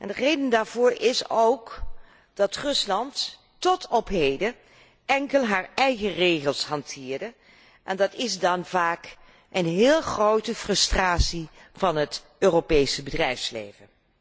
De reden daarvoor is ook dat Rusland tot op heden enkel zijn eigen regels hanteerde en dat is vaak een bron van heel grote frustratie voor het Europese bedrijfsleven.